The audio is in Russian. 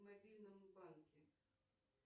в мобильном банке